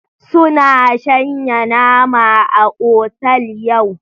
Suna shanya nama a otal yau.